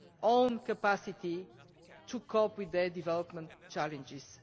own capacity to cope with their development challenges.